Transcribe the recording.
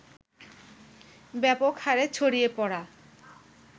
ব্যাপক হারে ছড়িয়ে পড়া